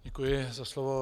Děkuji za slovo.